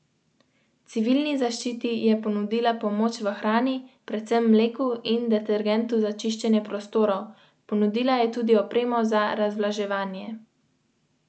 Sindikati vse do zdaj uradno niso predstavljali svojih stališč na vladne predloge, ki so že nekaj časa znani.